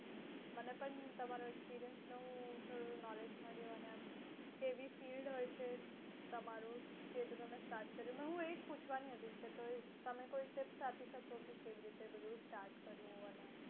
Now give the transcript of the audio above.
મને પણ તમારા experience knowledge મળશે કેવી field હોય છે તમારું કેવી રીતે start કર્યું